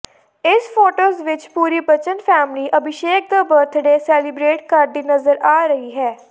ਇਸ ਫੋਟੋਜ ਵਿੱਚ ਪੂਰੀ ਬੱਚਨ ਫੈਮਿਲੀ ਅਭੀਸ਼ੇਕ ਦਾ ਬਰਥਡੇ ਸਲੇਇਬਰੇਟ ਕਰਦੀ ਨਜ਼ਰ ਆ ਰਹੀ ਹਨ